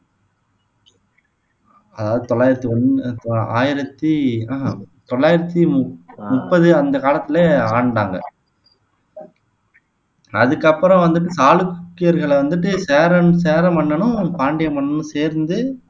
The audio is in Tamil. அதாவது தொள்ளாயிரத்து ஒண்ணு ஆயிரத்தி ஹம் உம் தொள்ளாயிரத்தி முப் முப்பது அந்த காலத்திலயே ஆண்டாங்க அதுக்கப்பறம் வந்துட்டு சாளுக்கியர்கள வந்துட்டு சேரன் சேர மன்னனும் பாண்டிய மன்னனும் சேர்ந்து